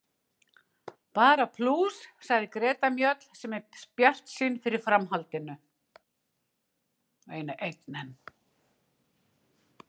Bara plús, sagði Greta Mjöll sem er bjartsýn fyrir framhaldinu.